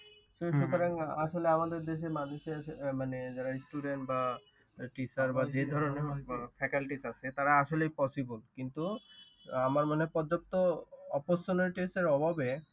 তো সুতরাং আসলে আমাদের দেশের মানুষের মানে যারা student বা teacher বা যে ধরণের faculties আছে তারা আসলেই possible কিন্তু আমার মনে হয় পর্যাপ্ত opportunities এর অভাবে